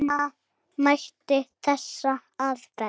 Reyna mætti þessa aðferð.